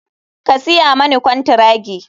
Ka siya mani kwantiragi.